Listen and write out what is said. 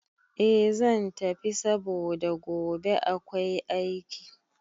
Eh zan tafi saboda gobe akwai aiki